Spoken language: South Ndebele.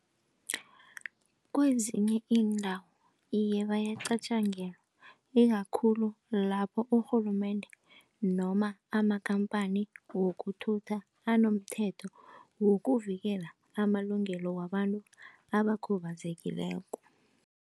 Kwezinye iindawo, iye bayacatjangelwa ikakhulu lapho urhulumende noma amakhamphani wokukuthutha anomthetho wokuvikela amalungelo wabantu abakhubazekileko.